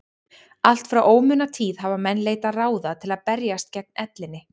Allt frá ómunatíð hafa menn leitað ráða til að berjast gegn ellinni.